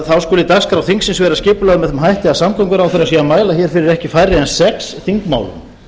þá skuli dagskrá þingsins vera skipulögð með þeim hætti að samgönguráðherra sé að mæla fyrir ekki færri en sex þingmálum